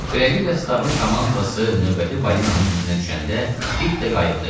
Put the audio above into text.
Beləliklə Stabın komandası növbəti balinanın izinə düşəndə, Pip də qayıqda idi.